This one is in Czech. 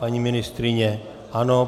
Paní ministryně - ano.